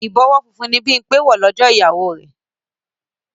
Ìbọwọ́ funfun ni Bímpé wọ̀ lọ́jọ́ ìgbéyàwó rẹ̀